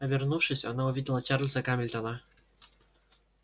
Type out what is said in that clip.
обернувшись она увидела чарлза гамильтона